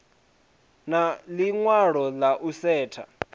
na ḽiṅwalo ḽa u setsha